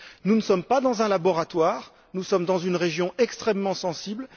Nous ne sommes pas dans un laboratoire, nous sommes dans une région extrêmement sensible.